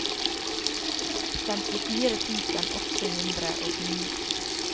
femtifire tusen åtte hundre og ni